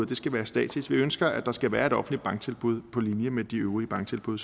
det skal være statsligt vi ønsker at der skal være et offentligt banktilbud på linje med de øvrige banktilbud